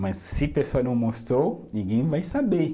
Mas se a pessoa não mostrou, ninguém vai saber.